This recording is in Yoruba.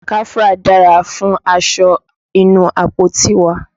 Káfúrà dára fún aṣọ inú àpótí wa.